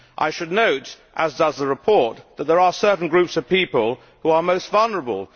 I should note, as does the report, that there are certain groups of people who are most vulnerable.